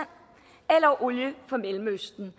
eller olie fra mellemøsten